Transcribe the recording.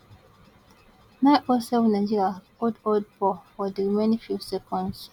none oh seven nigeria hold hold ball for di remaining few seconds